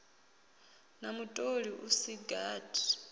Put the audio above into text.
na mutoli u si gathi